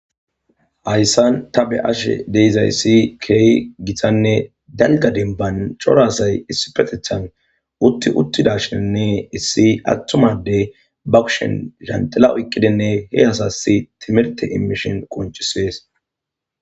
Haysan ta beyashe de'izaysi keehi gitanne dalga demban cora asay issipetethan utti uttidashinne issi atuma Adey ba kushen lanxila oykidinne he asasi timirte immishin qoncises.